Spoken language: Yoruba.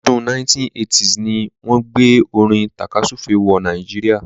ọdún 1980s ni wọ́n gbé orin tàkasúfèé wọ Nàìjíríà.